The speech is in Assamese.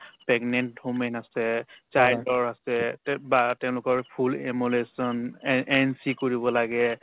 pregnant women আছে child ৰ আছে তে বা তেওঁলোকৰ full emulation এন entry কৰিব লাগে